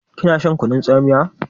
Kina shan kunun tsamiya?